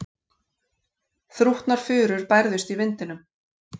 Þrútnar furur bærðust í vindinum.